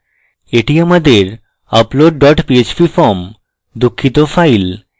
এটি আমাদের upload dot php form দুঃখিত file